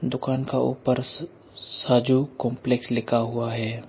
दुकान का ऊपर साजु कांप्लेक्स लिखा हुआ है।